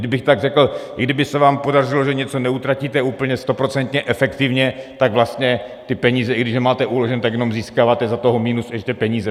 Kdybych tak řekl, i kdyby se vám podařilo, že něco neutratíte úplně stoprocentně efektivně, tak vlastně ty peníze, i když je máte uložené, tak jenom získáváte za toho minus ještě peníze.